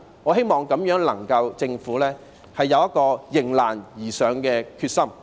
我希望政府能夠有迎難而上的決心。